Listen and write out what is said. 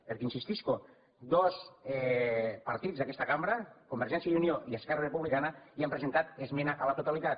perquè hi insistisc dos partits d’aquesta cambra convergència i unió i esquerra republicana hi han presentat esmena a la totalitat